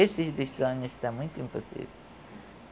Esse dos sonhos está muito impossível.